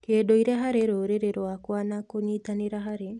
kĩndũire harĩ rũrĩrĩ rwakwa na kũnyitanĩra harĩ